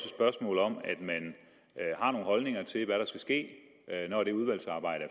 spørgsmål om at man har nogle holdninger til hvad der skal ske når det udvalgsarbejde